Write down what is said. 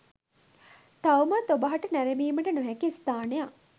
තවමත් ඔබ හට නැරඹීමට නොහැකි ස්ථානයක්